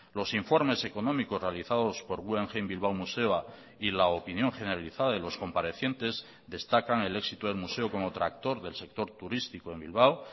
los informes económicos realizados por guggenheim bilbao museoa y la opinión generalizada de los comparecientes destacan el éxito del museo como tractor del sector turístico en bilbao